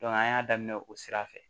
an y'a daminɛ o sira fɛ